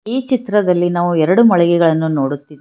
ಈ ಚಿತ್ರದಲ್ಲಿ ನಾವು ಎರಡು ಮೊಕಳಿಗೆಗಳನ್ನು ನೋಡುತ್ತಿದ್ದೆ--